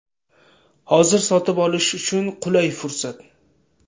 Hozir sotib olish uchun qulay fursat.